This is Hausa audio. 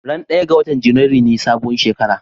Ran ɗaya ga watar Janairu ne sabuwar shekara